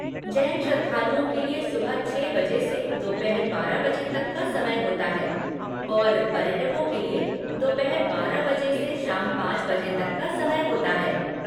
जैन श्रद्धालुओं के लिए सुबह छः बजे से दोपहर बारह बजे तक का समय होता है और पर्यटकों के लिए दोपहर बारह बजे से शाम पाँच बजे तक का समय होता है।